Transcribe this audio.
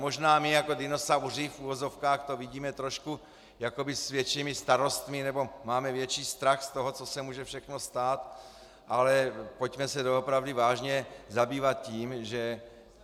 Možná my jako dinosauři v uvozovkách to vidíme trošku jakoby s většími starostmi nebo máme větší strach z toho, co se může všechno stát, ale pojďme se doopravdy vážně zabývat tím, že...